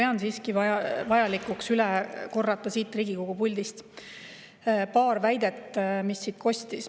Ma pean siiski vajalikuks siit Riigikogu puldist paari väidet, mis siit kostus.